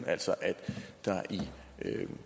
altså er der i